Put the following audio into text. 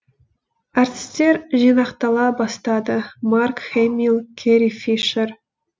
әртістер жинақтала бастады марк хэмилл кэрри фишер